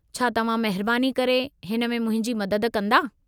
छा तव्हां महिरबानी करे हिन में मुंहिंजे मदद कंदा?